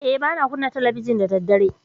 A'a, ba na kunna talabijin da daddare.